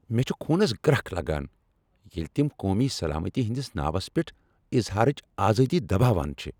مےٚ چھےٚ خونس گرٛکھ لگان ییٚلہ تم قومی سلامتی ہنٛدس ناوس پیٹھ اظہارٕچ آزٲدی دباوان چھ۔